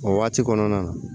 O waati kɔnɔna na